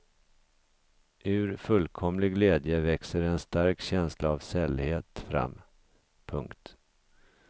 Ur fullkomlig glädje växer en stark känsla av sällhet fram. punkt